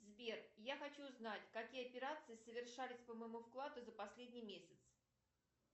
сбер я хочу знать какие операции совершались по моему вкладу за последний месяц